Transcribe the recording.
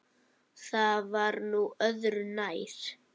Það var nú öðru nær.